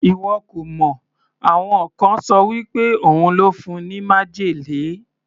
Ìwọ kò mọ̀, àwọn kan ṣọ wí pé òun ló fún un ní májèlé.